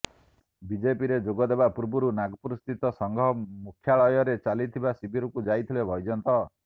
ବିଜେପିରେ ଯୋଗ ଦେବା ପୂର୍ବରୁ ନାଗପୁର ସ୍ଥିତ ସଂଘ ମୁଖ୍ୟାଳୟରେ ଚାଲିଥିବା ଶିବିରକୁ ଯାଇଥିଲେ ବୈଜୟନ୍ତ